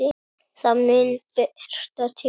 Það mun birta til.